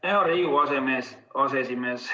Hea Riigikogu aseesimees!